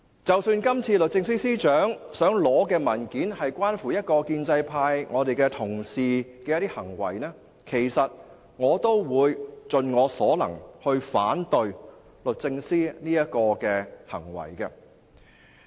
即使今次律政司司長要求索取的文件關乎一位非建制派議員的行為，我都會盡我所能反對律政司的這個行動。